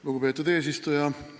Lugupeetud eesistuja!